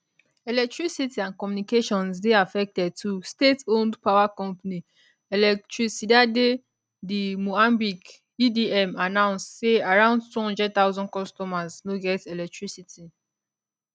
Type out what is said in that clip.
electricity and communications dey affected too stateowned power company electricidade de moambique edm announce say around 200000 customers no get electricity